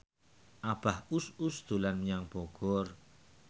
Abah Us Us dolan menyang Bogor